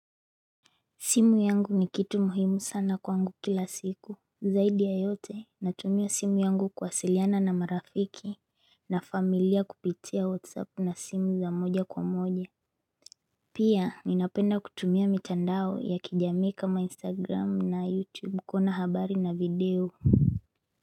Simu yangu ni kitu muhimu sana kwangu kila siku zaidi yayote natumio simu yangu kuwasiliana na marafiki na familia kupitia whatsapp na simu za moja kwa moja Pia ninapenda kutumia mitandao ya kijamii kama instagram na youtube kuona habari na video.